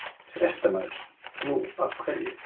Fréttamaður: Nú, af hverju?